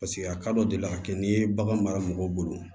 Paseke a kadɔ deli la ka kɛ n'i ye bagan mara mɔgɔw bolo